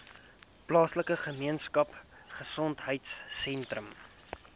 plaaslike gemeenskapgesondheid sentrum